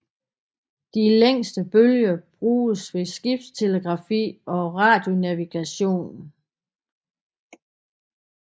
De længste bølger bruges ved skibstelegrafi og radionavigation